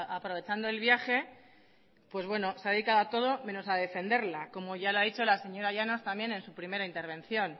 aprovechando el viaje pues bueno se ha dedicado a todo menos a defenderla como ya lo ha dicho la señora llanos también en su primera intervención